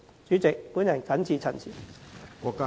主席，我謹此陳辭。